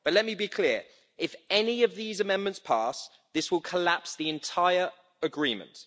But let me be clear if any of these amendments pass, this will collapse the entire agreement.